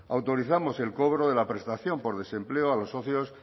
autorizamos el cobro de la prestación por desempleo a los socios